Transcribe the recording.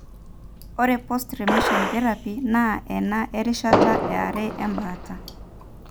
ore post remission therapy; na ena erishata eare embaata.